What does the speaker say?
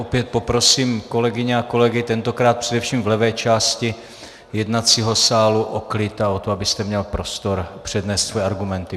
Opět poprosím kolegyně a kolegy, tentokrát především v levé části jednacího sálu, o klid a o to, abyste měl prostor přednést svoje argumenty.